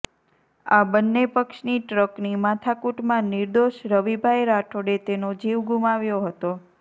આ બન્ને પક્ષની ટ્રકની માથાકુટમાં નિર્દોષ રવિભાઈ રાઠોડે તેનો જીવ ગુમાવ્યો હતો